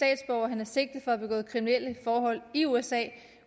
og han er sigtet for at begå kriminelle forhold i usa